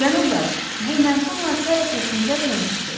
Cənablar, bu məşum hadisə ərəfəsində Tembrigdə idim.